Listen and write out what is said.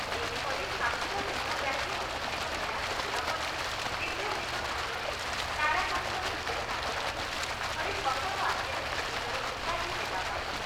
ଏହିପରି ସାତଦିନ ବ୍ୟାପୀ ଅଭିଷେକ ମେଳା ସରିବାପରେ ଦିବ୍ୟସିଂହ ସାଙ୍ଗରେ ତାରାକାନ୍ତ ବିଦ୍ୟାସାଗରଙ୍କୁ ଧରି କଟକ ଆସିଲା ନିଜର ଉପାଧି ନେବାପାଇଁ।